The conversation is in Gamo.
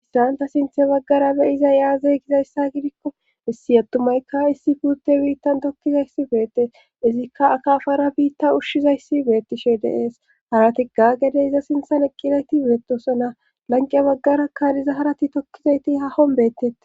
Isranta sinthe baggara beyiza yaazey gizayssa gidikko issi attumaykka issi puutte biittan tokkizayssi beette izikka akaafara biitta ushshizayssi beettishe deees harati gagede iza sinthan eqqizayti beettosona lanqiya baggara kadiza harati tokkizayti ha hom bettette.